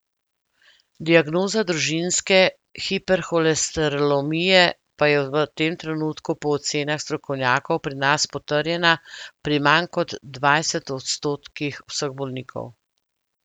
Diagnoza družinske hiperholesterolemije pa je v tem trenutku po ocenah strokovnjakov pri nas potrjena pri manj kot dvajset odstotkih vseh bolnikov.